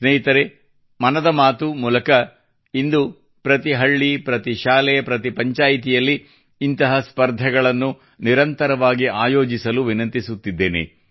ಸ್ನೇಹಿತರೇ ಮನದ ಮಾತು ಮೂಲಕ ಇಂದು ಪ್ರತಿ ಹಳ್ಳಿ ಪ್ರತಿ ಶಾಲೆ ಪ್ರತಿ ಪಂಚಾಯಿತಿಯಲ್ಲಿ ಇಂತಹ ಸ್ಪರ್ಧೆಗಳನ್ನು ನಿರಂತರವಾಗಿ ಆಯೋಜಿಸಲು ವಿನಂತಿಸುತ್ತಿದ್ದೇನೆ